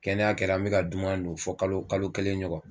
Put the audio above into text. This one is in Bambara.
Kɛnɛya kɛra, an be ka duman dun fɔ kalo kalo kelen ɲɔgɔn.